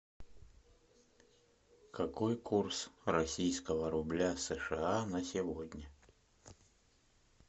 какой курс российского рубля сша на сегодня